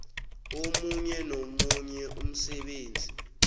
omunye nomunye umsebenzi